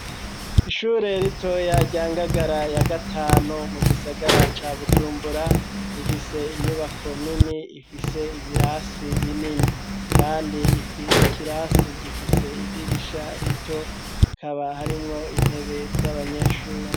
Ishure ritoya rya Ngagara ya gatanu, mu gisagara ca Bujumbura, rifise inyubako nini ifise ibirasi binini, kandi ikirasi gifise idirisha rito, kaba harimwo intebe z'abanyeshure.